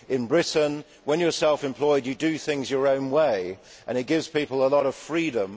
In Britain, when you are self employed, you do things your own way and it gives people a lot of freedom.